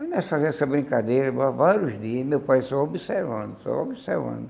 Nós fazíamos essa brincadeira por vários dias, meu pai só observando, só observando.